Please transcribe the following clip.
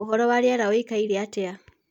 ũhoro wa rĩera uĩkaĩre atia